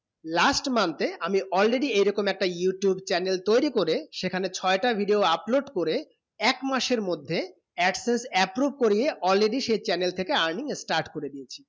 last month এ আমি already এইরকম একটা youtube channel তয়রি করে সেখানে ছয়ে টা video upload করে এক মাসের মধ্যে absence approve করিয়ে already সেই channel থেকে earning start করে দিয়েছি